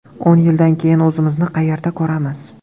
O‘n yildan keyin o‘zimizni qayerda ko‘ramiz?